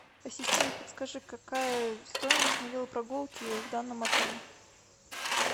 ассистент подскажи какая стоимость на велопрогулки в данном отеле